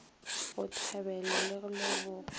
go thabelwa le go lebogwa